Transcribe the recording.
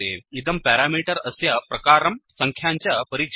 इदं पेरामीटर् अस्य प्रकारान् सङ्ख्यां च परीक्षति